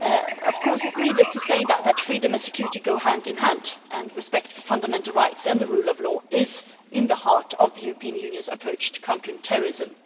It is needless to say that freedom and security go hand in hand, and respect for fundamental rights and the rule of law is at the heart of the European Union's approach to countering terrorism.